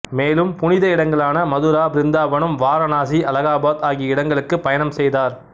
மேலும்புனித இடங்களான மதுரா பிருந்தாவனம் வாரணாசி அலகாபாத் ஆகிய இடங்கலுக்கு பயணம் செய்தார்